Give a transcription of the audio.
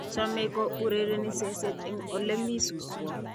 chomei ku urereni seset eng ole mi suswo